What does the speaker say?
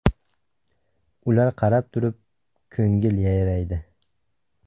Ular qarab turib, ko‘ngil yayraydi!